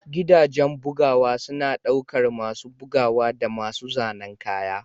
Gidajen bugawa suna ɗaukar masu bugawa da masu zanen kaya.